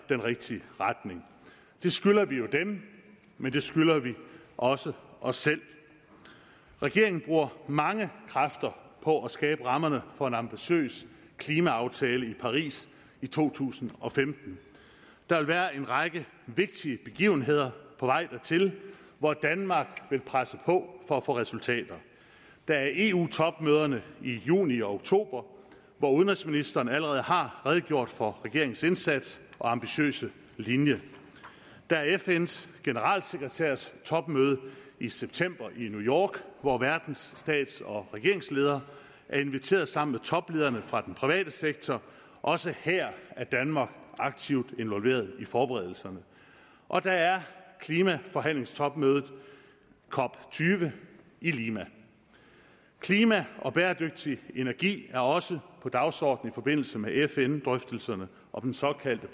den rigtige retning det skylder vi jo dem men det skylder vi også os selv regeringen bruger mange kræfter på at skabe rammerne for en ambitiøs klimaaftale i paris i to tusind og femten der vil være en række vigtige begivenheder på vej dertil hvor danmark vil presse på for at få resultater der er eu topmøderne i juni og oktober hvor udenrigsministeren allerede har redegjort for regeringens indsats og ambitiøse linje der er fns generalsekretærs topmøde i september i new york hvor verdens stats og regeringsledere er inviteret sammen toplederne fra den private sektor også her er danmark aktivt involveret i forberedelserne og der er klimaforhandlingstopmødet cop tyve i lima klima og bæredygtig energi er også på dagsordenen i forbindelse med fn drøftelserne om den såkaldte